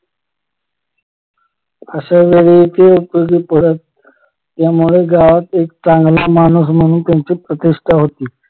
अश्या वेळी ते उपयोगी पडत त्यामुळे गावात एक चांगला माणूस म्हणून त्यांची प्रतिष्ठा होती